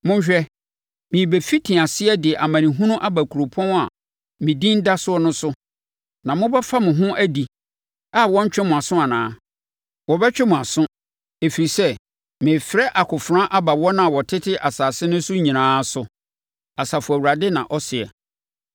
Monhwɛ, merebɛfiti aseɛ de amanehunu aba kuropɔn a me Din da so no so, na mobɛfa mo ho adi a wɔrentwe mo aso anaa? Wɔbɛtwe mo aso, ɛfiri sɛ merefrɛ akofena aba wɔn a wɔtete asase no so nyinaa so, Asafo Awurade na ɔseɛ.’